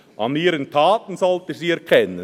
«An ihren Taten sollt ihr sie erkennen.